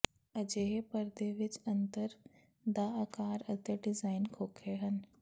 ਅਜਿਹੇ ਪਰਦੇ ਵਿੱਚ ਅੰਤਰ ਦਾ ਆਕਾਰ ਅਤੇ ਡਿਜ਼ਾਈਨ ਘੋਖੇ ਹਨ